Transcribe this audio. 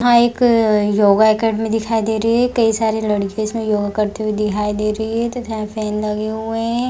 यहाँ एक yoga academy दिखाई दे रही है कई सारी लड़किया इसमें योगा करती हुई दिखाई दे रही है यहाँ फैन लगे हुए है और यहाँ टाइल्स लगी हुई है- है-है यहाँ गेट दिखाई दे रहा है अ -अ और काच का दरवाजा दिखाई दे रहा है।